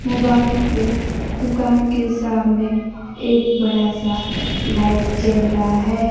Mobile के दुकान के सामने एक बड़ा सा लाइट जल रहा है।